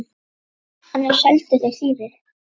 Annars seldu þeir þýfið.